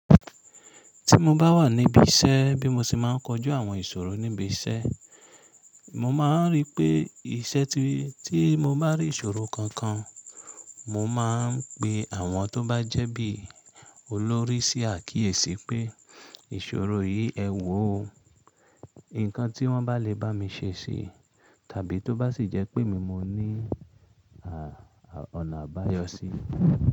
Tí mo bá wà níbí iṣẹ́ bí mo ṣe máa ń kojú àwọn ìṣòro níbi iṣẹ́, mo máa ń rí pé iṣẹ́ tí mo bá rí ìṣòro kankan, mo máa ń pe àwọn tó bá jẹ́ bí olórí sí àkíyèsí pé ìṣòro yìí ẹ wò ó. Ǹkan tí wọ́n bá lè bá mi ṣe ṣi tàbí tó bá sì jẹ́ pé mí mo ní ọ̀nà àbáyọ sí i.